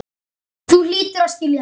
Þú hlýtur að skilja það.